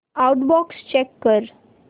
outbox check कर